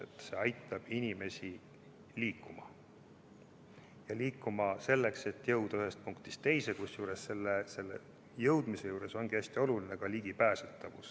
Tuleb aidata inimesi liikuma, et nad jõuaks ühest punktist teise, kusjuures selle kohalejõudmise juures on hästi oluline ka ligipääsetavus.